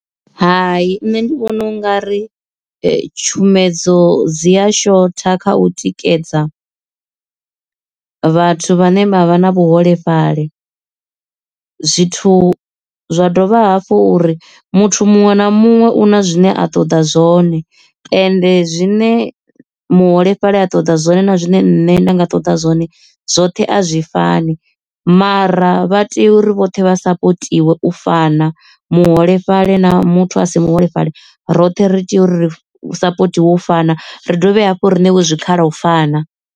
Hai nṋe ndi vhona u nga ri tshumedzo dzi ya shotha kha u tikedza vhathu vhane vha vha na vhuholefhali zwithu zwa dovha hafhu uri muthu muṅwe na muṅwe una zwine a ṱoḓa zwone ende zwine muholefhali a ṱoḓa zwone na zwine nṋe nda nga ṱoḓa zwone zwoṱhe a zwi fani mara vha tea uri vhoṱhe vha sapotiwe u fana muholefhali na muthu a si muholefhali roṱhe ri tea uri ri support wo fana ri dovhe hafhu riṋe we zwikhala u fana.